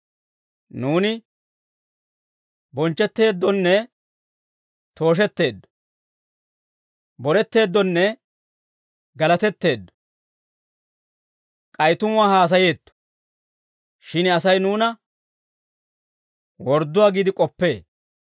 Nuuni bonchchetteeddonne tooshetteeddo; boretteeddonne galatetteeddo. K'ay tumuwaa haasayeetto; shin Asay nuuna wordduwaa giide k'oppee.